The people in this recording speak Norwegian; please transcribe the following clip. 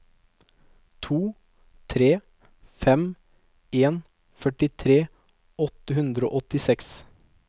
to tre fem en førtitre åtte hundre og åttiseks